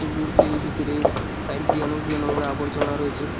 পুকুরটির ভিতরে সাইড দিয়ে অনেকগুলো নোংরা আবর্জনা রয়েছে।